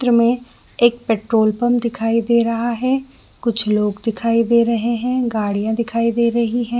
त्रि में एक पेट्रोल पंप दिखाई दे रहा है कुछ लोग दिखाई दे रहे है गाड़ियाँ दिखाई दे रही हैं ।